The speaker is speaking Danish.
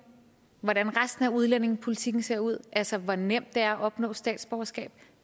hvordan resten af udlændingepolitikken ser ud altså hvor nemt det er at opnå statsborgerskab